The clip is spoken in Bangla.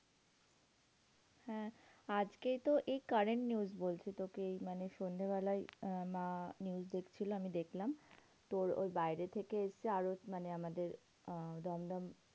হ্যাঁ আজকেই তো এই current news বলছি তোকে এই মানে সন্ধ্যাবেলাই আহ মা news দেখছিলো আমি দেখলাম তোর ওই বাইরে থেকে এসেছে আরও মানে আমাদের আহ দমদম